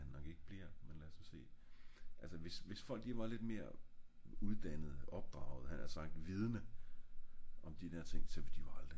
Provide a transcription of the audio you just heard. men lad os nu se altså hvis hvis folk var lidt mere uddannet opdraget havde jeg nært sagt vidende om de der ting så ville de jo aldrig